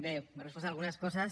bé m’ha respost algunes coses